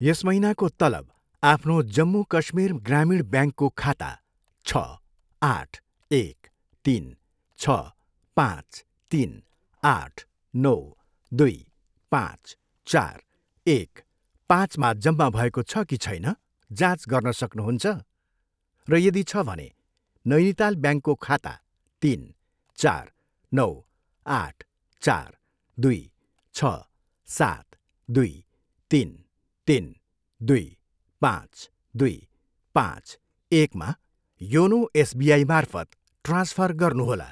यस महिनाको तलब आफ्नो जम्मू काश्मीर ग्रामीण ब्याङ्कको खाता छ, आठ, एक, तिन, छ, पाँच, तिन, आठ, नौ, दुई, पाँच, चार, एक, पाँचमा जम्मा भएको छ कि छैन, जाँच गर्न सक्नुहुन्छ? र यदि छ भने, नैनिताल ब्याङ्कको खाता तिन, चार, नौ, आठ, चार, दुई, छ, सात, दुई, तिन, तिन, दुई, पाँच, दुई, पाँच, एकमा योनो एसबिआईमार्फत ट्रान्सफर गर्नुहोला।